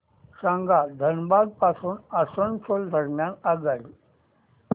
सांगा धनबाद पासून आसनसोल दरम्यान आगगाडी